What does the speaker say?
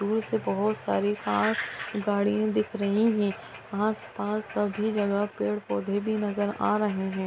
दूर से बहुत सारी कार गाड़ियाँ दिख रही है आस-पास सभी जगह पेड़-पौधे भी नजर आ रहे है।